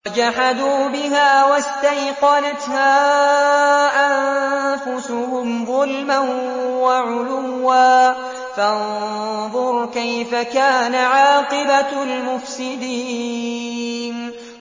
وَجَحَدُوا بِهَا وَاسْتَيْقَنَتْهَا أَنفُسُهُمْ ظُلْمًا وَعُلُوًّا ۚ فَانظُرْ كَيْفَ كَانَ عَاقِبَةُ الْمُفْسِدِينَ